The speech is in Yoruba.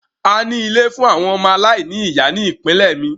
A ní ilé fún àwọn ọmọ aláìní ìyá ní ìpínlẹ̀ mi.